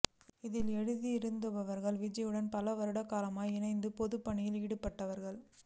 இதில் எழுதியிருப்பவர்கள் விஜயாவுடன் பல வருடகாலம் இணைந்து பொதுப்பணிகளில் ஈடுபட்டவர்கள்